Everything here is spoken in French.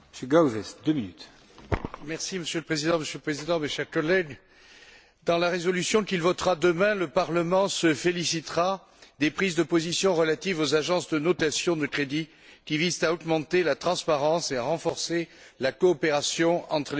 Monsieur le Président, mes chers collègues, dans la résolution qu'il votera demain, le Parlement se félicitera des prises de position relatives aux agences de notation de crédit, qui visent à augmenter la transparence et à renforcer la coopération entre les autorités nationales de supervision.